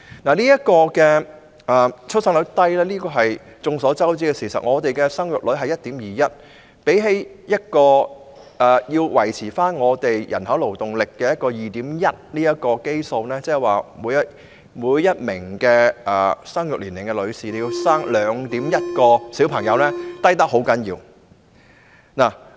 香港的低出生率是眾所周知的事實，現時的生育率是 1.21， 遠低於維持人口勞動力所需的基數 2.1， 即每名生育年齡女性需要生育 2.1 名子女。